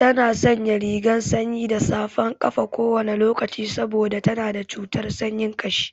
Tana sanya rigar sanyi da safan ƙafa kowane lokaci saboda tana da cutar sanyin ƙashi.